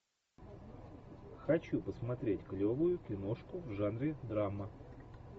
хочу посмотреть клевую киношку в жанре драма